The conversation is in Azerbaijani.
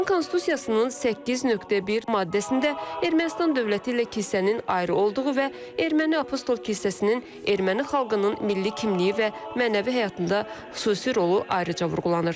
Ermənistan Konstitusiyasının 8.1 maddəsində Ermənistan dövləti ilə kilsənin ayrı olduğu və Erməni Apostol kilsəsinin erməni xalqının milli kimliyi və mənəvi həyatında xüsusi rolu ayrıca vurğulanır.